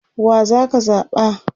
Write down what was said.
wa zaka zaɓa?